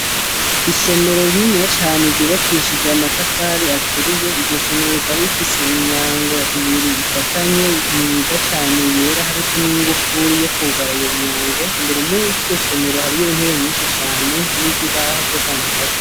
Isomero rininiya cane ryubakishije amatafari aturiye, iryo somero rikaba rifise imyango ibiri ifatanye myiza cane yera hariko n'ingufuri yo kwugara iyo myango, imbere mw'iryo somero harimwo intebe nyinshi cane n'ibibaho vyo kwandikako.